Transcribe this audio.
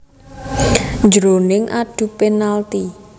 Jroning adu penalti